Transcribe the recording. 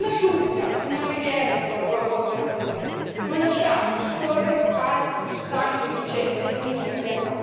Una supplica, una preghiera rivolgo a voi, cari colleghi non lasciamo scorrere altro sangue innocente in nome di Allah!